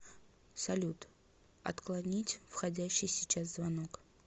салют отклонить входящий сейчас звонок